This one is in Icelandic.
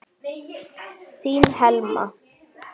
Þín Helma.